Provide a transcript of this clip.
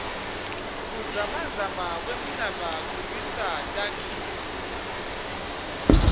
kuzamazama kwemhlaba kuwisa takhiloo